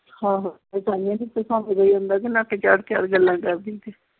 ਆਹੋ ਨੱਕ ਚਾੜ ਚਾੜ ਗੱਲਾਂ ਕਰਦੀ ਸੀ।